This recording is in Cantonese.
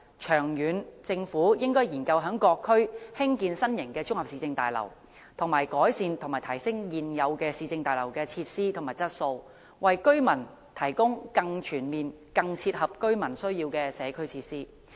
長遠來說，政府應研究在各區興建新型綜合市政大樓，以及改善和提升現有市政大樓的設施和質素，為居民提供更全面、更切合居民需要的社區設施。